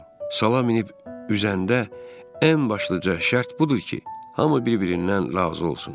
Sala minib üzəndə ən başlıca şərt budur ki, hamı bir-birindən razı olsun.